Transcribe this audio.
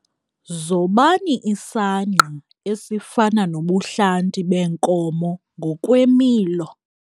Zobani isangqa esifana nobuhlanti beenkomo ngokwemilo.